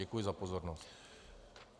Děkuji za pozornost.